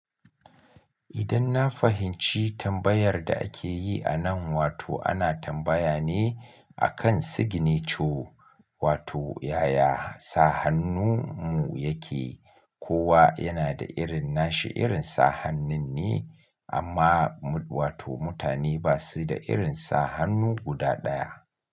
Idan na fahimci tambayar da ake yi a nan, wato ana tambaya ne akan signature wato yaya sa hannun mu yake. Kowa yana da irin nashi irin sa hannun ne amma wato mutane ba su da irin sa hannu guda ɗaya.